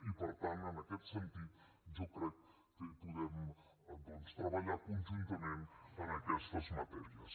i per tant en aquest sentit jo crec que hi podem doncs treballar conjuntament en aquestes matèries